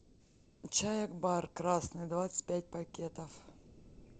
чай акбар красный двадцать пять пакетов